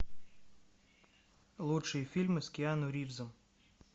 лучшие фильмы с киану ривзом